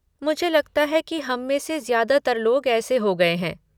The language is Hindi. मुझे लगता है कि हम में से ज्यादातर लोग ऐसे हो गए हैं।